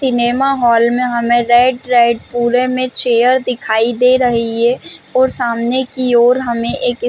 cinema hall में हमें red red पुरे में चेयर दिखाई दे रही है और सामने की और हमें एक--